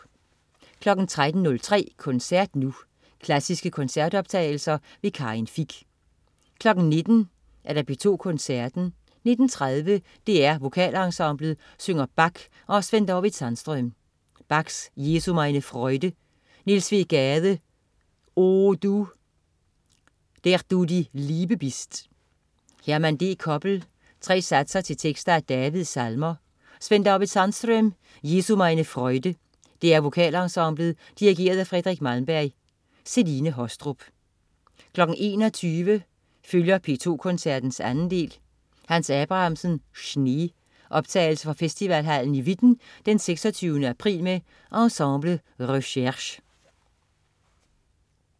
13.03 Koncert Nu. Klassiske koncertoptagelser. Karin Fich 19.00 P2 Koncerten. 19.30 DR VokalEnsemblet synger Bach og Svend-David Sandström. Bach: Jesu, meine Freude. Niels W. Gade: O du, der du die Liebe bist. Herman D. Koppel: Tre satser til tekster af Davids salmer. Sven-David Sandström: Jesu, meine Freude. DR VokalEnsemblet. Dirigent: Fredrik Malmberg. Celine Haastrup 21.00 P2 Koncerten, 2. del. Hans Abrahamsen: Schnee. Optagelse fra Festivalhallen i Witten 26. april med Ensemble Recherche